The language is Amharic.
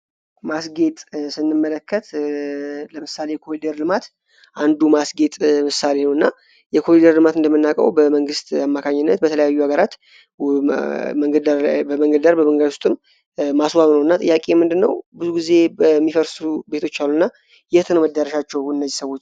ማስጌት ስንመለከት ለምሳሌ የኮሊደር ልማት አንዱ ማስጌጥ ምሳሌ ነው፤ እና የኮሊደር ልማት እንደምናቀው በመንግሥት አማካኝነት በተለያዩ ሀገራት በመንገደር በመንገደ ውስጥም ማስዋብ ነው ።እና ጥያቄ ምንድነው ብዙ ጊዜ በሚፈርሱ ቤቶች አሉእና የትንመዳረሻቸው እነዚህ ሰዎች?